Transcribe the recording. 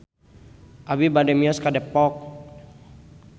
Abi bade mios ka Depok